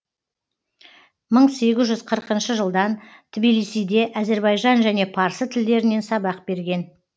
мың сегіз жүз қырқыншы жылдан тбилисиде әзірбайжан және парсы тілдерінен сабақ берген